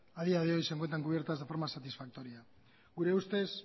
a día de hoy se encuentran cubiertas de forma satisfactoria gure ustez